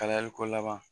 Kalayali ko laban